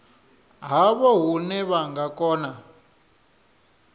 havho hune vha nga kona